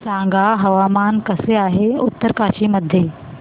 सांगा हवामान कसे आहे उत्तरकाशी मध्ये